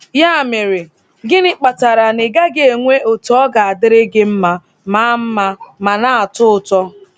Ya mere, gịnị kpatara na ị gaghị enwe otu - ọ ga-adịrị gị mma ma mma ma na-atọ ụtọ!